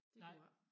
Det kunne jeg ik